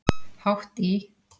Hátt í